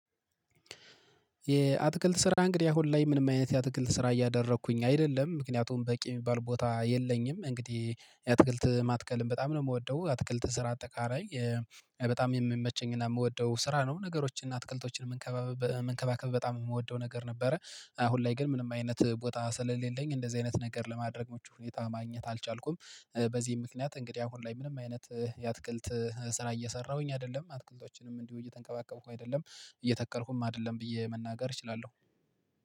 የአትክልት ስራ እንግዲህ አሁን ላይ ምንም አይነት የአትክልት ስራ እያደረኩኝ አይደለም ምክንያቱም በቂ የሚባል ቦታ የለኝም። እንግዲህ የትክልት ማትከልም በጣም ነው የምወደው አትክልት ስራ አጠቃላይ በጣም የሚመቸኝና የምወደው ስራ ነው። ነገሮችን እና አትክልቶችን የምንከባከብ በጣም የምወደው ነገር ነበረ። አሁን ላይ ግን ምንም አይነት ቦታ ስለሌለኝ እንደዚህ አይነት ነገር ለማድረግ ሁኔታ ማግኘት አልቻልኩም። በዚህ ምክንያት እንግዲህ አሁን ላይ ምንም አይነት የአትክልት ስራ እየሰራሁኝ አይደለም አትክልቶችንም እንዲሁ እየተንከባከብኩ አይደለም። እየተከልኩም አይደለም ብዬ መናገር እችላለሁ